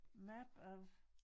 Map of